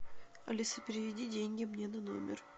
алиса переведи деньги мне на номер